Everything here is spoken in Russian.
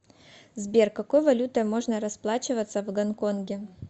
сбер какой валютой можно расплачиваться в гонконге